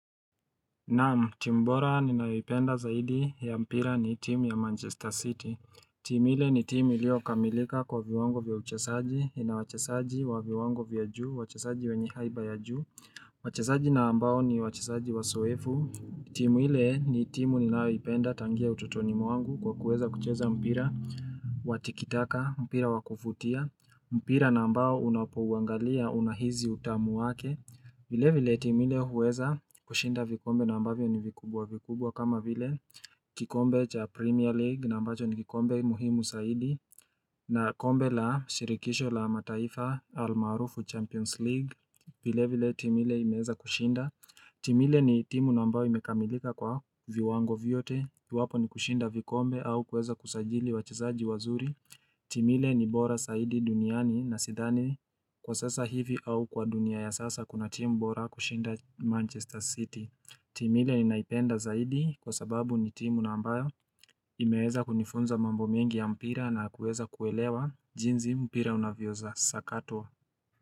Na'am, timu bora ninayoipenda zaidi ya mpira ni timu ya Manchester City. Timu ile ni timu iliyokamilika kwa viwango vya uchezaji, ina wachezaji wa viwango vya juu, wachezaji wenye haiba ya juu. Wachezaji na ambao ni wacheslzaji wazoefu. Timu ile ni timu ninayoipenda tangia utotoni mwangu kwa kuweza kucheza mpira wa tikitaka, mpira wa kuvutia. Mpira na ambao unapouangalia unahisi utamu wake. Vile vile timu ile huweza kushinda vikombe na ambavyo ni vikubwa vikubwa kama vile kikombe cha Premier League na ambacho ni kikombe muhimu zaidi na kombe la shirikisho la mataifa almaarufu Champions League vile vile timu ile imeweza kushinda. Timu ile ni timu nambayo imekamilika kwa viwango viyote iwapo ni kushinda vikombe au kuweza kusajili wachezaji wazuri timu ile ni bora zaidi duniani na sidhani kwa sasa hivi au kwa dunia ya sasa kuna timu bora kushinda Manchester City timu ile ninaipenda zaidi kwa sababu ni timu nambayo imeweza kunifunza mambo mengi ya mpira na kuweza kuelewa jinsi mpira unavyosakatwa.